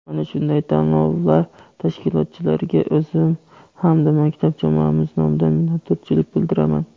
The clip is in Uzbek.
Mana shunday tanlovlar tashkilotchilariga o‘zim hamda maktab jamoamiz nomidan minnatdorchilik bildiraman.